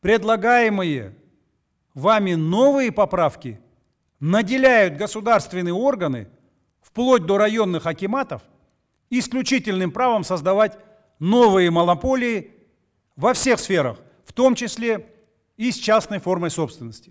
предлагаемые вами новые поправки наделяют государственные органы вплоть до районных акиматов исключительным правом создавать новые монополии во всех сферах в том числе и с частной формой собственности